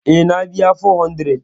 Eh, na biya 400